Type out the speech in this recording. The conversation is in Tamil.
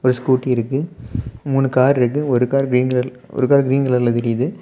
ஒரு ஸ்கூட்டி இருக்கு மூணு கார் இருக்கு ஒரு கார் கிரீன் கலர் ஒரு கார் கிரீன் கலர்ல தெரியுது.